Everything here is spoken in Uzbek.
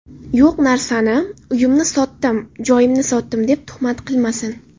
Yo‘q narsani, uyimni sotdim, joyimni sotdim, deb tuhmat qilmasin.